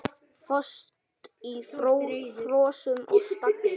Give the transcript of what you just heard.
Föst í frösum og stagli.